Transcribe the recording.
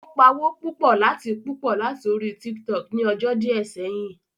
Ó pawó púpọ̀ láti púpọ̀ láti orí Tiktok ni ọjọ́ díẹ̀ sẹ́yìn